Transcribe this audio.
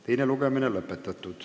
Teine lugemine lõpetatud.